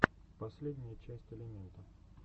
последняя часть элемента